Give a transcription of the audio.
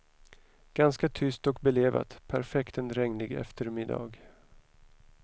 Ganska tyst och belevat, perfekt en regnig eftermiddag.